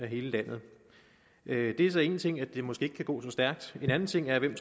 hele landet det er så én ting at det måske ikke kan gå så stærkt en anden ting er hvem